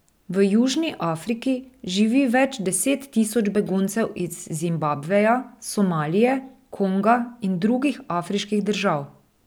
V Južni Afriki živi več deset tisoč beguncev iz Zimbabveja, Somalije, Konga in drugih afriških držav.